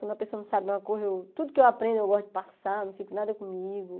Quando a pessoa não sabe de uma coisa eu, tudo que eu aprendo, eu gosto de passar, não fico nada comigo.